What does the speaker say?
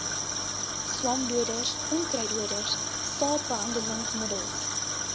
swamdoders onkruiddoders saadbehandelingsmiddels